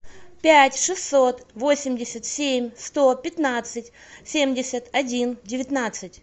пять шестьсот восемьдесят семь сто пятнадцать семьдесят один девятнадцать